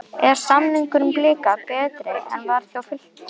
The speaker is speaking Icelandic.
Er samningur Blika betri en hann var hjá Fylki?